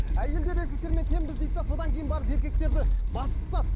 әйелдер еркектермен теңбіз дейді де содан кейін барып еркектерді басып тастады